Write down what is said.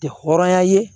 Tɛ hɔrɔnya ye